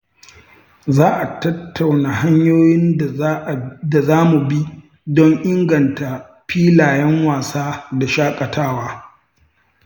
Za a tattauna hanyoyin da za mu bi don inganta filayen wasa da shaƙatawa.